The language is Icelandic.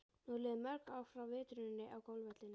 Nú eru liðin mörg ár frá vitruninni á golfvellinum.